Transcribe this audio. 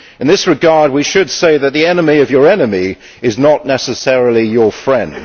In this regard we should say that the enemy of your enemy is not necessarily your friend.